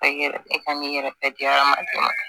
ne ka n yɛrɛ bɛɛ di hadamaden ma